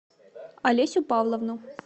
олесю павловну